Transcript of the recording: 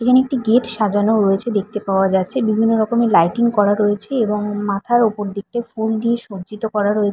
এখানে একটি গেট সাজানো রয়েছে দেখতে পাওয়া যাচ্ছে বিভিন্ন রকমের লাইটিং করা রয়েছে এবং মাথার উপর দিকটা ফুল দিয়ে সজ্জিত করা রয়ে--